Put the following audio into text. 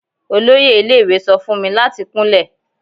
Oloye ile-iwe sọ fun mi lati kunlẹ